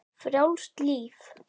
Frjálst líf.